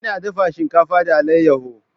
Ina dafa shinkafa da alayyahu.